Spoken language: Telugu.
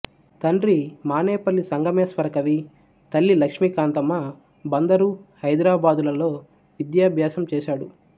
తండ్రి మానేపల్లి సంగమేశ్వర కవి తల్లి లక్ష్మీకాంతమ్మ బందరు హైదరాబాదులలో విద్యాభ్యాసం చేశాడు